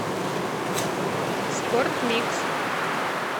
спортмикс